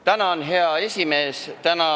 Tänan, hea esimees!